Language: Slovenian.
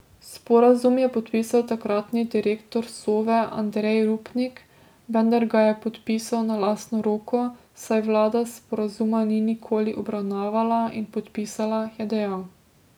Sporazum je podpisal takratni direktor Sove Andrej Rupnik, vendar ga je podpisal na lastno roko, saj vlada sporazuma ni nikoli obravnavala in podpisala, je dejal.